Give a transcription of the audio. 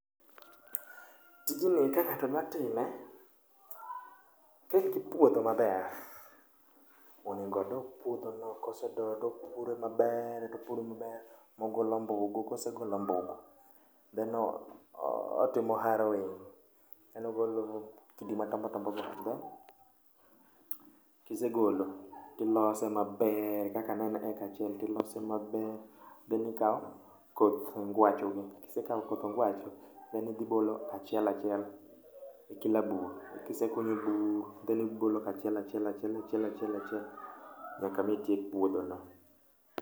Tijni ka ng'ato dwa time, kin gi puodho maber, onego odo puothono kosedoyo topure maber, topure maber, mogol ombugu kosegolo ombugu. Then otimo harrowing, then ogolo kidi madongodongo go endo. Kisegolo tilose maber kaka ne en eka achiel tilose maber then ikawo koth ngwacho gi. Kisekawo koth ngwacho, then idhibolo achiel achiel e kila bur. Kisekunyo bur then ibolo kachiel achiel nyaka mitiek puodho no.